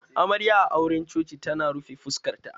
Amarya a auran coci tana rufe fuskar ta